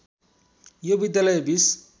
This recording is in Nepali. यो विद्यालय बिस